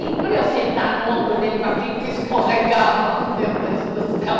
E para eu sentar no ombro dele com aquilo que escorregava, meu Deus do céu.